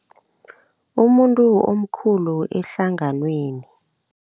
Umuntu omkhulu ehlanganweni.